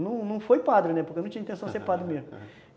Não não foi padre, né, porque eu não tinha intenção de ser padre mesmo, aham.